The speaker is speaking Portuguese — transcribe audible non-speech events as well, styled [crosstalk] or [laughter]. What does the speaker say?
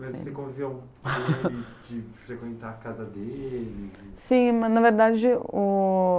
Mas você conviveu com eles, [laughs] de frequentar a casa deles? Sim, mas na verdade o...